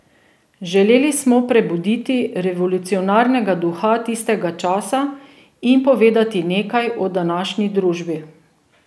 Želeli smo prebuditi revolucionarnega duha tistega časa in povedati nekaj o današnji družbi.